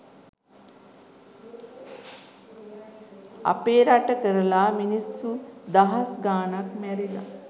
අපේ රට කරලා මිනිස්සු දහස් ගානක් මැරිලා